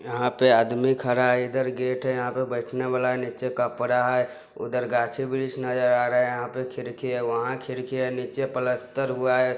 यहां पे आदमी खड़ा है इधर गेट है यहां पे बैठना वाला है नीचे कपड़ा है उधर गाछी-ब्रिक्ष नजर आ रहें यहाँ पे खिड़की है वहां खिड़की है नीचे पलस्तर हुआ है।